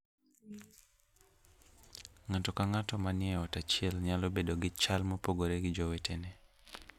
Ng'ato ka ng'ato manie ot achiel nyalo bedo gi chal mopogore gi jowetene.